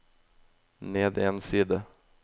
ned en side